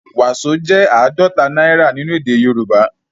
Waso jẹ àádọta náírà nínú èdè Yorùbá